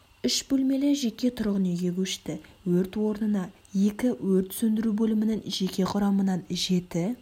үш бөлмелі жеке тұрғын үйге көшті өрт орнына екі өрт сөндіру бөлімінің жеке құрамынан жеті